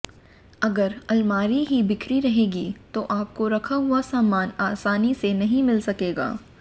अगर अलमारी ही बिखरी रहेगी तो आपको रखा हुआ सामान आसानी से नही मिल सकेगा